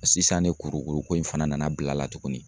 Sisan ne kurukuru ko in fana nana bil'a la tuguni.